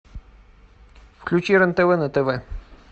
включи рен тв на тв